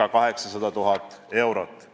ca 800 000 eurot.